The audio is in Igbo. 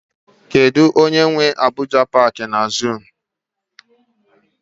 Kedụ onye nwe Abuja paaki na zuu?